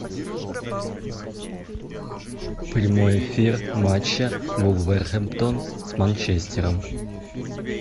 прямой эфир матча вулверхэмптон с манчестером